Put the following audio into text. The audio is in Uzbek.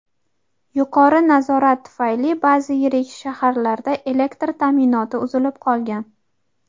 yuqori harorat tufayli ba’zi yirik shaharlarda elektr ta’minoti uzilib qolgan.